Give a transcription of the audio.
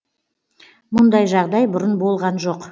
мұндай жағдай бұрын болған жоқ